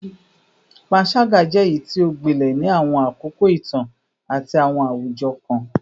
Panṣaga jẹ eyiti o gbilẹ ni awọn akoko itan ati awọn awujọ kan